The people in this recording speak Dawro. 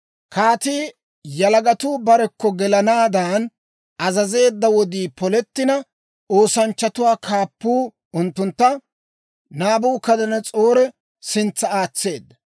Kaatii yalagatuu barekko gelanaaddan azazeedda wodii polettina, oosanchchatuwaa kaappuu unttuntta Naabukadanas'oore sintsa aatseedda.